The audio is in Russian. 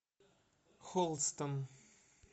холстон